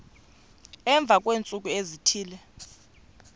emva kweentsuku ezithile